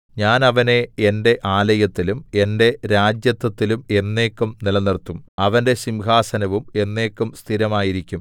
ഞാൻ അവനെ എന്റെ ആലയത്തിലും എന്റെ രാജത്വത്തിലും എന്നേക്കും നിലനിർത്തും അവന്റെ സിംഹാസനവും എന്നേക്കും സ്ഥിരമായിരിക്കും